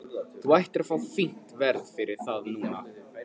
Þú ættir að fá fínt verð fyrir það núna.